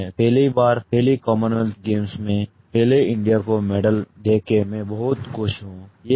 मैं पहली बार पहले कॉमनवेल्थ गेम्स में पहले इंडिया को मेडल दे के मैं बहुत खुश हूँ